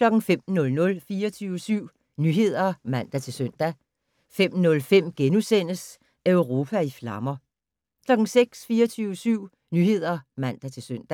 05:00: 24syv Nyheder (man-søn) 05:05: Europa i flammer * 06:00: 24syv Nyheder (man-søn)